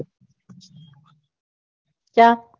ક્યાં